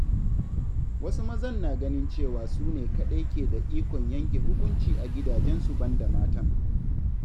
Wasu mazan na ganin cewa su ne kaɗai ke da ikon yanke hukunci a gidajensu banda matan.